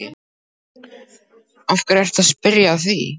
Af hverju ertu að spyrja að því.